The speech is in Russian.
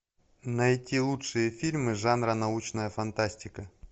найти лучшие фильмы жанра научная фантастика